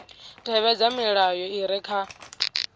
tevhedza milayo i re kha